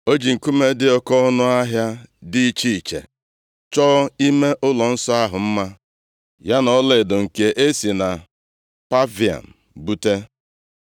O ji nkume dị oke ọnụahịa dị iche iche chọọ ime ụlọnsọ ahụ mma, ya na ọlaedo nke e si na Pavaim bute.